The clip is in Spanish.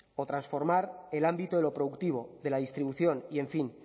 o transformar el ámbito de lo productivo de la distribución y en fin